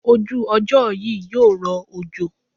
Ojú ọjọ́ yí yóò rọ òjò.